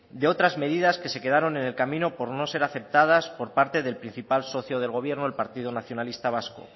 de otras medidas que se quedaron en el camino por no ser aceptadas por el principal socio del gobierno el partido nacionalista vasco